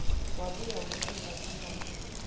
wabuya wehlela kunyoka